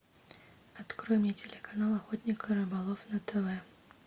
открой мне телеканал охотник и рыболов на тв